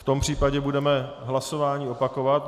V tom případě budeme hlasování opakovat.